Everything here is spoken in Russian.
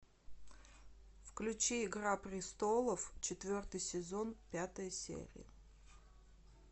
включи игра престолов четвертый сезон пятая серия